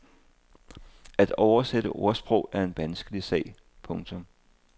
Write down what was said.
At oversætte ordsprog er en vanskelig sag. punktum